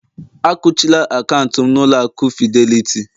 Akuchila akaụntụ'm na ụlọ aku Fidelity